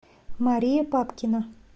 мария папкина